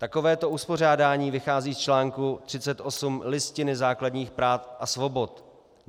Takovéto uspořádání vychází z článku 38 Listiny základních práv a svobod.